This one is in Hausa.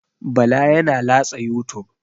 Bala yana latsa youtube.